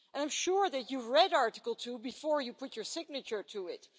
And I'm sure that you read Article 2 before you put your signature to it.